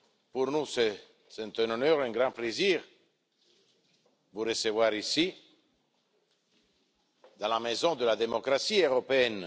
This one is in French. Pour nous, c'est un honneur, un grand plaisir de vous recevoir ici dans la maison de la démocratie européenne.